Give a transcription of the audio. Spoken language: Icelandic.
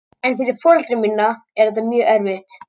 En fyrir foreldra mína er þetta mjög erfitt.